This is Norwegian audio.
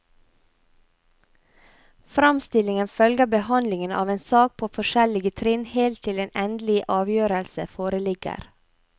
Framstillingen følger behandlingen av en sak på forskjellige trinn helt til en endelig avgjørelse foreligger.